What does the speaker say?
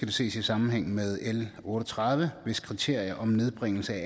det ses i sammenhæng med l otte og tredive hvis kriterier om nedbringelse af